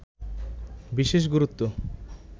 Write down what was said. বিশেষ গুরুত্ব